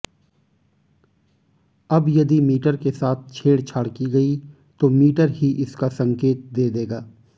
अब यदि मीटर के साथ छेड़छाड़ की गई तो मीटर की इसका संकेत दे देगा